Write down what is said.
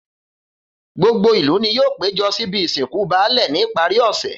Gbogbo ìlú ni yóò péjo síbi ìsìnkú baálè ní ìparí òsè.